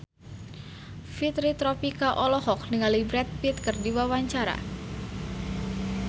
Fitri Tropika olohok ningali Brad Pitt keur diwawancara